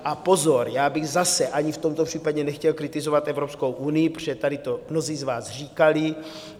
A pozor, já bych zase ani v tomto případě nechtěl kritizovat Evropskou unii, protože tady to mnozí z vás říkali.